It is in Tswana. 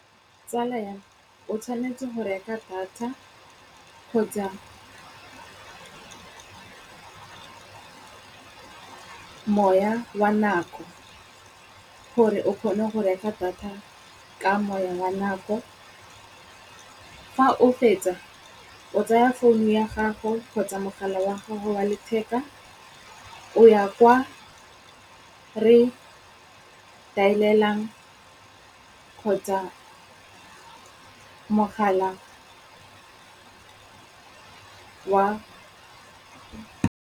Tsala ya me, o tshwanetse go reka data kgotsa moya wa nako gore o kgone go reka data ka moya wa nako, fa o fetsa o tsaya founu ya gago kgotsa mogala wa gago wa letheka o ya kwa re dial-elang kgotsa mogala wa.